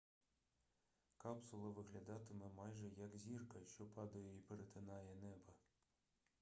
капсула виглядатиме майже як зірка що падає і перетинає небо